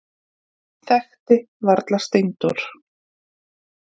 Þekkti varla Steindór.